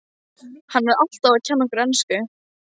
Hann er alltaf að kenna okkur ensku!